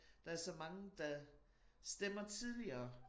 Der så mange der stemmer tidligere